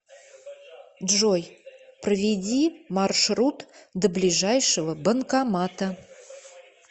джой проведи маршрут до ближайшего банкомата